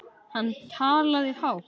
Hann talaði hátt.